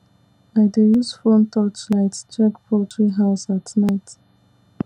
i dey use phone touch light check poultry house at night